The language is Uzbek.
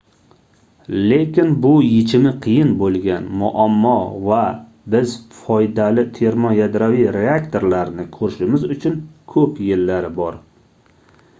lekin bu yechimi qiyin boʻlgan muammo va biz foydali termoyadroviy reaktorlarni koʻrishimiz uchun koʻp yillar bor